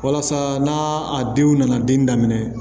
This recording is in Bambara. Walasa n'a a denw nana den daminɛ